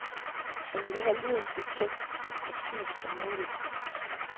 Han ville have lyden så tæt, så præcis som muligt.